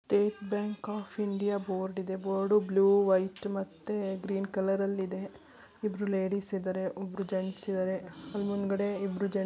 State Bank of India board ಇದೆ board blue white ಮತ್ತೆ green colour ಅಲ್ಲಿ ಇದೆ ಇಬ್ಬರೂ ಲೇಡೀಸ್ ಇದ್ದರೆ ಒಬ್ಬರು ಜೆಂಟ್ಸ್ ಇದ್ದರೆ. ಮುಂದುಗಡೆ ಇಬ್ರು ಜೆ --